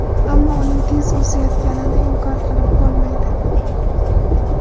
Ammo uning tez o‘sayotganini inkor qilib bo‘lmaydi.